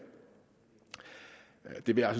vil jeg